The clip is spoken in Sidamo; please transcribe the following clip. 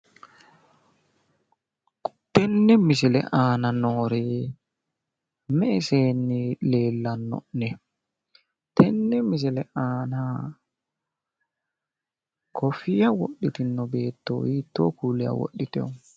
tenne misile aana noori me''e seeneeti leellano'nehu tenne misile aana kofiyya wodhitino beetto hiittoo kuuliha wodhitino?